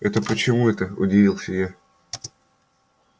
это почему й то это удивилась я